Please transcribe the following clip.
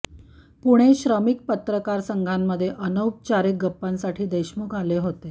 पुणे श्रमिक पत्रकार संघामध्ये अनौपचारिक गप्पांसाठी देशमुख आले होते